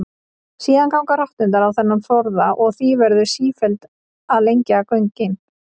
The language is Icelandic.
Síðan ganga rotturnar á þennan forða og því verður sífellt að lengja göngin.